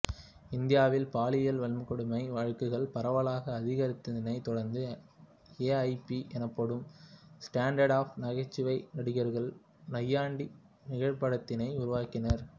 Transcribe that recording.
இந்தியாவில் பாலியல் வன்கொடுமை வழக்குகள் பரவலாக அதிகரித்ததனை தொடர்ந்து ஏஐபி எனப்படும் ஸ்டாண்ட்அப் நகைச்சுவை நடிகர்கள் நையாண்டி நிகழ்படத்தினை உருவாக்கினர்